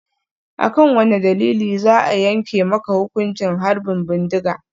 A kan wane dalili za a yanke maka hukuncin harbin bindiga?